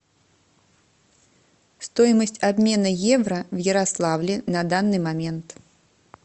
стоимость обмена евро в ярославле на данный момент